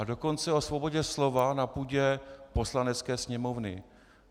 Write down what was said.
A dokonce o svobodě slova na půdě Poslanecké sněmovny.